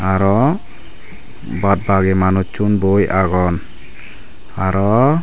aro baad bagi manussun boi agon aro.